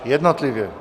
Jednotlivě.